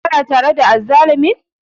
Kana tare da azzalumin?